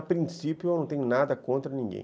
A princípio, eu não tenho nada contra ninguém.